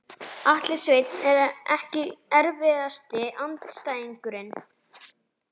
Atli Sveinn EKKI erfiðasti andstæðingur?